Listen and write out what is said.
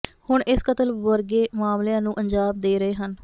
ਹੁਣ ਇਸ ਕਤਲ ਵਰਗੇ ਮਾਮਲਿਆਂ ਨੂੰ ਅੰਜਾਮ ਦੇ ਰਹੇ ਹਨ